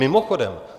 Mimochodem -